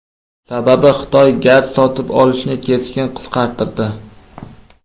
Sababi Xitoy gaz sotib olishni keskin qisqartirdi.